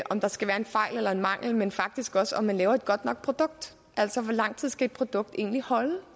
om der skal være en fejl eller en mangel men faktisk også om de laver et godt nok produkt altså hvor lang tid skal et produkt egentlig holde